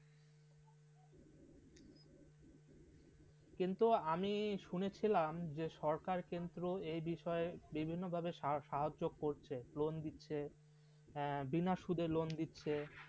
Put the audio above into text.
কিন্তু আমি শুনেছিলাম যে সরকার কেন্দ্র এ বিষয়ে বিভিন্নভাবে সাহায্য করছে লোন দিচ্ছে বিনা সুদে লোন দিচ্ছে